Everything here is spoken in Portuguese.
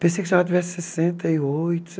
Pensei que a senhora tivesse sessenta e oito